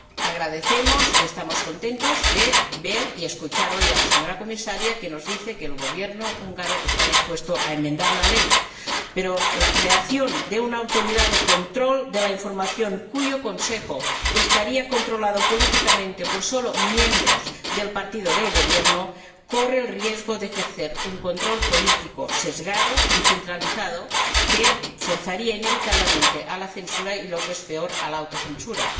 Agradecemos —y nos complace— ver y escuchar hoy a la señora Comisaria, que nos dice que el Gobierno húngaro está dispuesto a enmendar la ley, pero la creación de una Autoridad de control de la información, cuyo consejo estaría controlado políticamente solo por miembros del partido del Gobierno, corre el riesgo de ejercer un control político sesgado y centralizado que forzaría inevitablemente a la censura y, lo que es peor, a la autocensura.